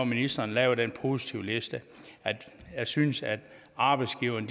ministeren laver den positivliste jeg synes at arbejdsgiverne